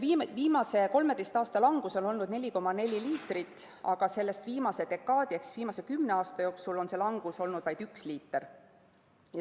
Viimase 13 aasta langus on olnud 4,4 liitrit, aga sellest viimase dekaadi ehk viimase kümne aasta jooksul on langus olnud vaid üks liiter.